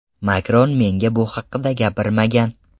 Makron menga bu haqda gapirmagan.